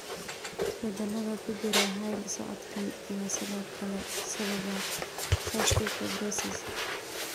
Isbeddellada ku jira hidda-socodkan ayaa sidoo kale sababa cystic fibrosis.